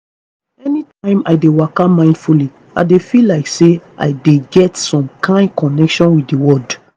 anytime i dey waka mindfully i dey feel like say i dey get some kain connection with di world